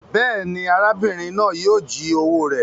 Béèni, arábìrin náà yio ji owó rẹ